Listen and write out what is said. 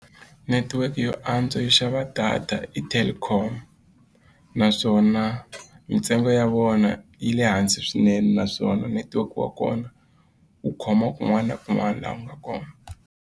Netiweke yo antswa yo xava data i telkom naswona mitsengo ya vona yi le hansi swinene naswona netiweke wa kona wu khoma kun'wana na kun'wana laha u nga kona.